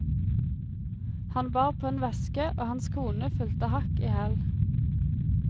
Han bar på en veske, og hans kone fulgte hakk i hæl.